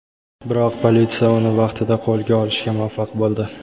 Biroq politsiya uni vaqtida qo‘lga olishga muvaffaq bo‘ldi.